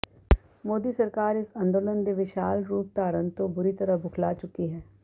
ਮੋਦੀ ਸਰਕਾਰ ਇਸ ਅੰਦੋਲਨ ਦੇ ਵਿਸ਼ਾਲ ਰੂਪ ਧਾਰਨ ਤੋਂ ਬੁਰੀ ਤਰ੍ਹਾਂ ਬੁਖਲਾ ਚੁੱਕੀ ਹੈ